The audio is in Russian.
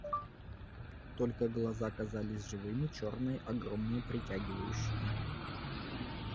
только глаза казались живыми чёрные огромные притягивающие